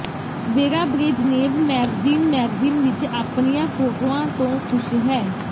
vera Brezhnev magazine magazine ਵਿਚ ਆਪਣੀਆਂ ਫੋਟੋਆਂ ਤੋਂ ਖ਼ੁਸ਼ ਹੈ